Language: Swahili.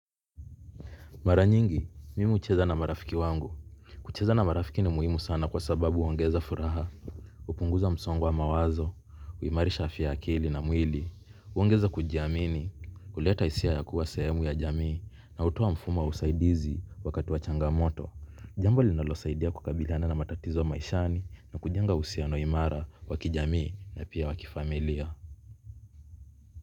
Maranyingi, mimi ucheza na marafiki wangu. Kucheza na marafiki ni muhimu sana kwa sababu uongeza furaha. Upunguza msongo wa mawazo, uimari sha afya ya akili na mwili. Ungeza kujiamini, uleta hisia ya kuwasehemu ya jamii na utoa mfumo wa usaidizi wakati wachanga moto. Jambo linalosaidia kukabiliana na matatizo maishani na kujenga usiano imara wakijamii na pia wakifamilia.